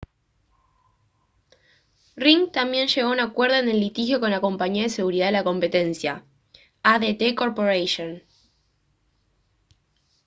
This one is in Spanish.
ring también llegó a un acuerdo en el litigio con la compañía de seguridad de la competencia adt corporation